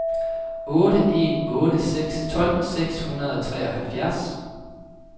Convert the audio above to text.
otte en otte seks tolv seks hundrede og treoghalvfjerds